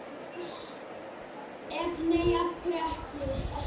Ef nei, af hverju ekki?